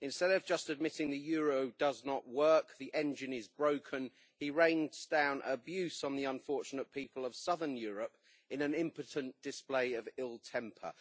Instead of just admitting that the euro does not work and the engine is broken, he rains down abuse on the unfortunate people of southern Europe in an impotent display of ill temper.